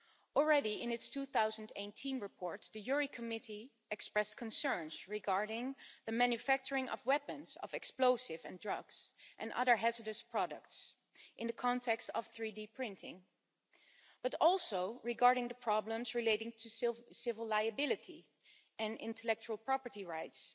Already in its 2018 report, the Committee on Legal Affairs expressed concerns regarding the manufacturing of weapons, explosives, drugs and other hazardous products in the context of 3D printing, but also regarding the problems relating to civil liability and intellectual property rights.